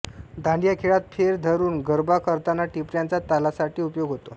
दांडिया खेळात फेर धरून गरबा करताना टिपऱ्यांचा तालासाठी उपयोग होतो